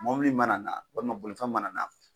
Mɔbili mana na walima bolifɛn mana na